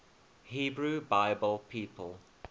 hebrew bible people